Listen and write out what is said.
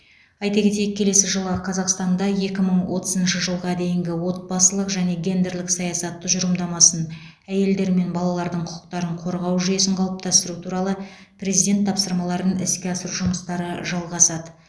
айта кетейік келесі жылы қазақстанда екі мың отызыншы жылға дейінгі отбасылық және гендерлік саясат тұжырымдамасын әйелдер мен балалардың құқықтарын қорғау жүйесін қалыптастыру туралы президент тапсырмаларын іске асыру жұмыстары жалғасады